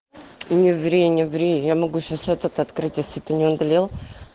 не ври не ври я могу сейчас этот открыть если ты не удалил